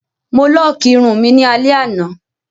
Mo lọ́ọ́kì irun mi ní alẹ́ àná.